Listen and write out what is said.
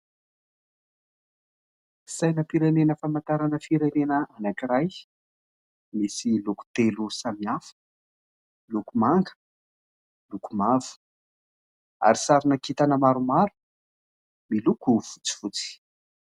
Sainam-pirenena famantarana firenena anankiray. Misy loko telo samihafa : loko manga, loko mavo ary sarina kintana maromaro miloko fotsifotsy.